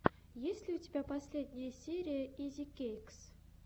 есть ли у тебя последняя серия изикэйкс